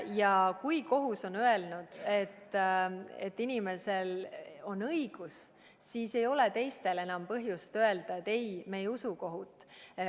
Ja kui kohus on öelnud, et inimesel on õigus, siis ei ole teistel enam põhjust öelda, et ei, me ei usu kohut.